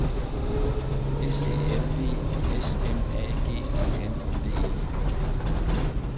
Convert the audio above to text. S E L V S M A G E N D E